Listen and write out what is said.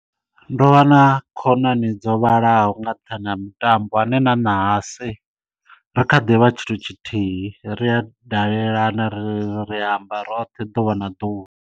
Ndo vha na khonani dzo vhalaho nga nṱhani ha mitambo ane na ṋahasi ri kha ḓivha tshithu tshithihi ri a dalelana ri ri amba roṱhe ḓuvha na ḓuvha.